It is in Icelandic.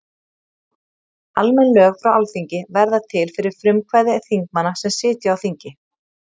almenn lög frá alþingi verða til fyrir frumkvæði þingmanna sem sitja á þingi